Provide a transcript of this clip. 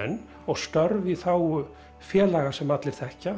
menn og störf í þágu félaga sem allir þekkja